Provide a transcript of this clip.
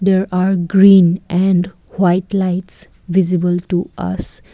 there are green and white lights visible to us.